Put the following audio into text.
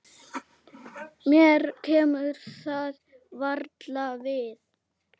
Mér kemur það varla við.